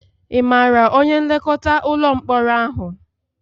Ị maara onye nlekọta ụlọ mkpọrọ ahụ?